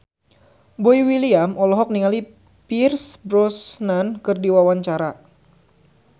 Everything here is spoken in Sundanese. Boy William olohok ningali Pierce Brosnan keur diwawancara